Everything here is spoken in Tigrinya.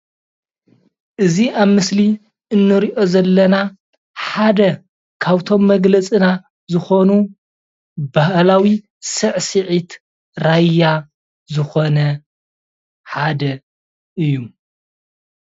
እዚ ኣብ ምስሊ ንሪኦ ዘለና ሓደ ካብቶም መግለፂና ዝኮኑ ባህላዊ ሳዕስዒት ራያ ዝኮነ ሓደ እዩ።